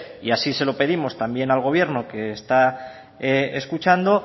y así se lo pedimos también al gobierno que está escuchando